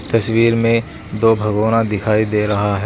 तस्वीर में दो भगोना दिखाई दे रहा है।